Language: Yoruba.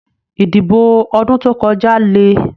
Ìdìbò ọdún tó kọjá lè.